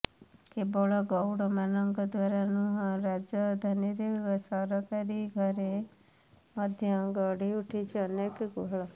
କେବଳ ଗଉଡ଼ ମାନଙ୍କ ଦ୍ୱାରା ନୁହଁ ରାଜଧାନୀରେ ସରକାରୀ ଘରେ ମଧ୍ୟ ଗଢି ଉଠିଛି ଅନେକ ଗୁହାଳ